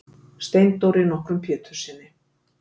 Steindóri nokkrum Péturssyni.